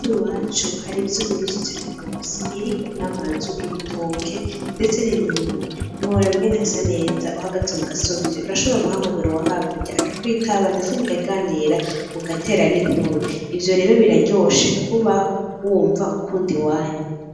I Burundi iwacu hari imisozi myinshi cane gose iriko n'amazu ibitoke ndetse n'imirima ntiworaba ingene hasa neza uhagaze kugasozi urashobora guhamagara uwo hakurya akakwitaba ndetse mukaganira mugatera n'inkuru ivyo rero biraryoshe kubaho wumva ukunda iwanyu .